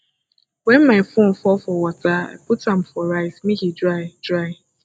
wen my phone fall for water i put am for rice make e dry dry